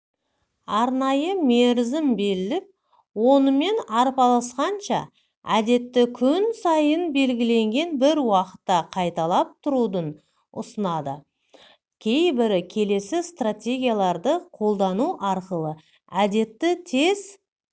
арнайы мерізім белілеп онымен арпалысқанша әдетті күн сайын белгіенген бір уақытта қайталап тұруды ұсынады кейбірі келесі стратегияларды қолдану арқылы әдетті тез